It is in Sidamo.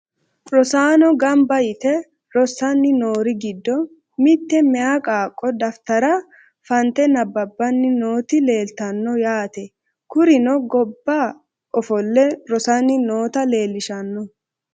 Rosaano ganba yite rosani noori giddo mite meya qaaqo daftara fante nababani nooti leeltano yaate kurino gobba ofole rosani nota leelishano.